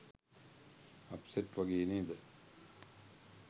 Upset වගේ නේද?